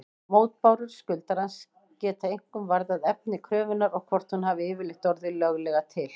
Mótbárur skuldarans geta einkum varðað efni kröfunnar og hvort hún hafi yfirleitt orðið löglega til.